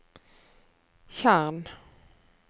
tjern